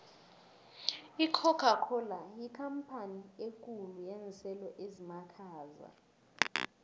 icocacola yikampani ekhulu yenselo ezimakhaza